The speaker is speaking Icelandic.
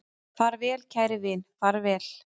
Far vel kæri vin, far vel